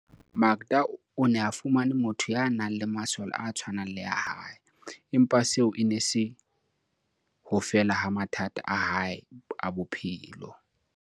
Qe tellong, Makda o ne a fumane motho ya nang le masole a tshwanang le a hae, empa seo e ne e se ho fela ha mathata a hae a bophelo.